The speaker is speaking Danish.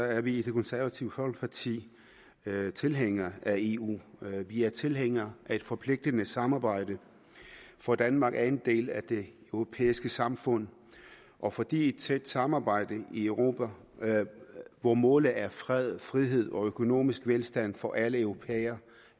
er vi i det konservative folkeparti tilhængere af eu vi er tilhængere af et forpligtende samarbejde for danmark er en del af det europæiske samfund og fordi et tæt samarbejde i europa hvor målet er fred frihed og økonomisk velstand for alle europæere